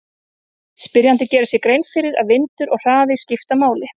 Spyrjandi gerir sér grein fyrir að vindur og hraði skipta máli.